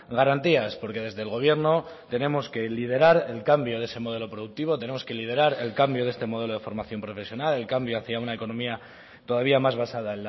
garantías porque desde el gobierno tenemos que liderar el cambio de ese modelo productivo tenemos que liderar el cambio de este modelo de formación profesional el cambio hacia una economía todavía más basada